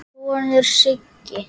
sonur, Siggi.